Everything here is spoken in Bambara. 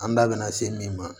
An da bɛ na se min ma